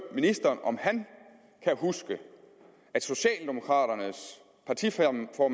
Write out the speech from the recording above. ministeren om han kan huske at socialdemokraternes partiformand og